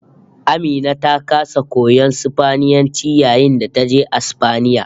AMina ta kasa koyon Sifaniyanci yayin da taje Asfaniya